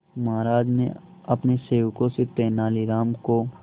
महाराज ने अपने सेवकों से तेनालीराम को